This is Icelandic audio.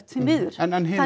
því miður en hinar